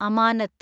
അമാനത്ത്